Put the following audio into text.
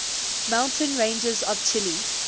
mountain ranges of chile